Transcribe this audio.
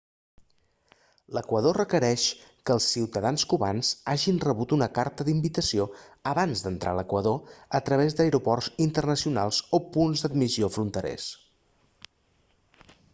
l'equador requereix que els ciutadans cubans hagin rebut una carta d'invitació abans d'entrar a l'equador a través d'aeroports internacionals o punts d'admissió fronterers